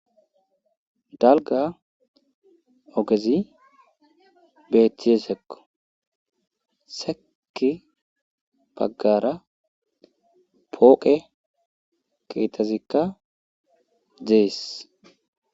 Dalga ogezi beettize sekko seki baggara pooqe keetazikka dees.